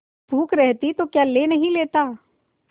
भूख रहती तो क्या ले नहीं लेता